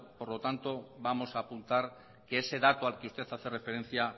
por lo tanto vamos a apuntar que ese dato al que usted hace referencia